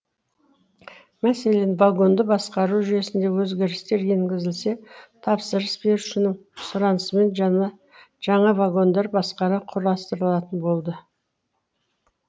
мәселен вагонды басқару жүйесінде өзгерістер енгізілсе тапсырыс берушінің сұранысымен жаңа вагондар басқара құрастырылатын болды